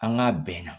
An k'a bɛn na